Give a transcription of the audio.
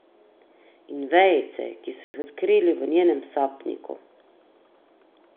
In vejice, ki so jih odkrili v njenem sapniku.